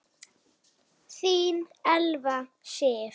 Þín Elfa Sif.